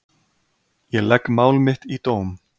Ég legg mál mitt í dóm.